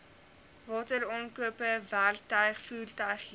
wateraankope werktuig voertuighuur